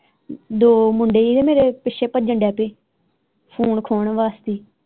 ਦੋ ਮੁੰਡੇ ਹੀ ਤੇ ਮੇਰੇ ਪਿੱਛੇ ਡੈ ਪ੍ਯੇ ਫੋਨ ਖੋਣ ਵਾਸਤੇ।